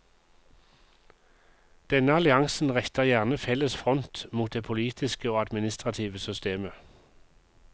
Denne alliansen retter gjerne felles front mot det politiske og administrative systemet.